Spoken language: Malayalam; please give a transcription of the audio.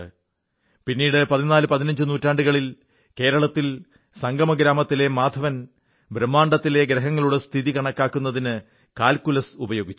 പിന്നീട് പതിനാല് പതിനഞ്ച് നൂറ്റാണ്ടുകളിൽ കേരളത്തിൽ സംഗമ ഗ്രാമത്തിലെ മാധവൻ ബ്രഹ്മാണ്ഡത്തിലെ ഗ്രഹങ്ങളുടെ സ്ഥിതി കണക്കാക്കുന്നതിന് കാൽകുലസ് ഉപയോഗിച്ചു